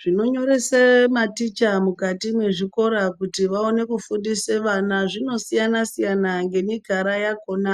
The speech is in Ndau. Zvinonyorese maticha mukati mwezvikora kuti vaone kufundise vana zvinosiyana siyana ngemikara yakona